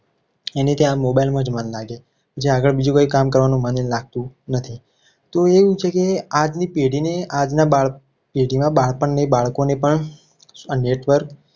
એને ત્યાં mobile માં જ મન લાગે જે આગળ બીજું કોઈ કામ કરવાનું મન લાગતું નથી. તો એવું છે. કે આજની પેઢીની આજના બાળપણની જે જુના બાળપણની બાળકોને પણ આ network